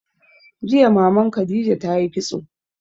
Jiya Maman Khadija ta yi kitso.